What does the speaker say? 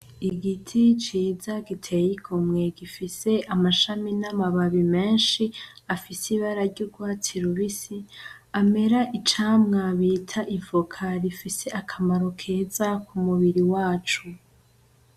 Igiti ciza giteye igomwe gifise amashami n'amababi menshi afise ibara ry'ugwatsi rubisi amera icamwa bita ivoka rifise akamaro keza ku mubiri wacu.